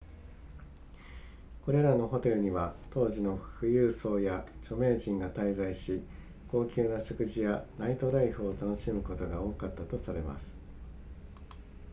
これらのホテルには当時の富裕層や著名人が滞在し高級な食事やナイトライフを楽しむことが多かったとされます